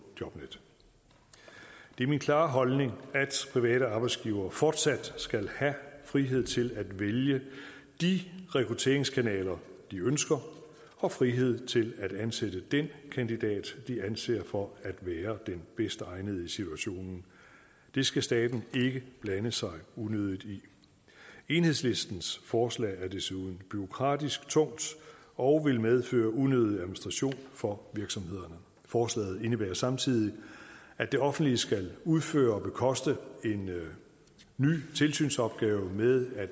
jobnet det er min klare holdning at private arbejdsgivere fortsat skal have frihed til at vælge de rekrutteringskanaler de ønsker og frihed til at ansætte den kandidat de anser for at være den bedst egnede i situationen det skal staten ikke blande sig unødigt i enhedslistens forslag er desuden bureaukratisk tungt og vil medføre unødig administration for virksomhederne forslaget indebærer samtidig at det offentlige skal udføre og bekoste en ny tilsynsopgave med at